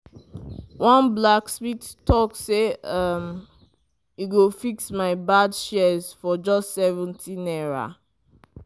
one blacksmith talk say um e go fix my bad shears for just 70 naira.